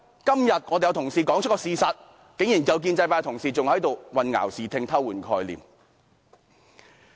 今天，有同事說出事實，但竟然有建制派同事混淆視聽，偷換概念。